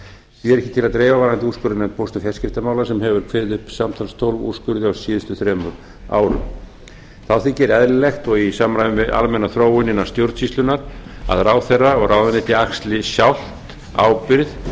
ekki til að dreifa varðandi úrskurðarnefnd póst og fjarskiptamála sem hefur kveðið upp samtals tólf úrskurði á síðustu þremur árum þá þykir eðlilegt og í samræmi við almenna þróun innan stjórnsýslunnar að ráðherra og ráðuneyti axli sjálft ábyrgð